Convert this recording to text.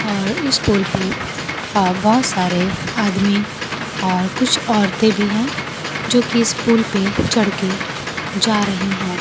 और इस पुल पे अ बहोत सारे आदमी और कुछ औरतें भी हैं जोकि इस पे चढ़के जा रही हैं।